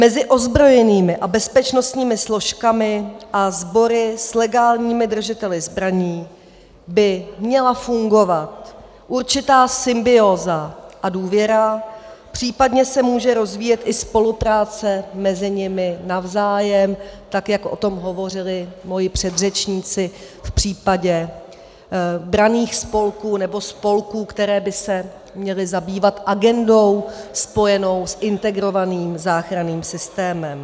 Mezi ozbrojenými a bezpečnostními složkami a sbory s legálními držiteli zbraní by měla fungovat určitá symbióza a důvěra, případně se může rozvíjet i spolupráce mezi nimi navzájem, tak jak o tom hovořili mí předřečníci v případě branných spolků nebo spolků, které by se měly zabývat agendou spojenou s integrovaným záchranným systémem.